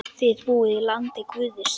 Þið búið í landi guðs.